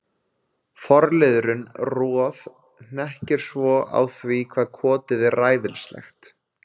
Forliðurinn Roð- hnekkir svo á því hvað kotið er ræfilslegt.